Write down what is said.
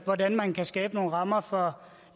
hvordan man kan skabe nogle rammer for